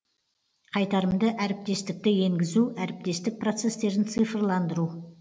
қайтарымды әріптестікті енгізу әріптестік процесстерін цифрландыру